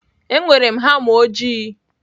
Enwere m hama ojii.